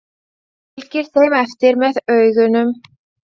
Hann fylgir þeim eftir með augunum.